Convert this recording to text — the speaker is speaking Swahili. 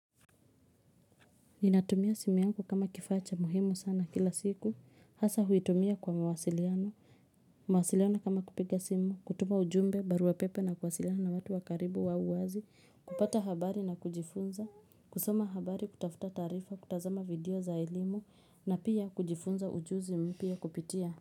Ninatumia simu yangu kama kifaa cha muhimu sana kila siku hasa huitumia kwa mawasiliano mawasiliano kama kupiga simu kutuma ujumbe barua pepe na kuwasiliana na watu wakaribu wa uwazi kupata habari na kujifunza kusoma habari kutafuta taarifa kutazama video za elimu na pia kujifunza ujuzi mpya kupitia.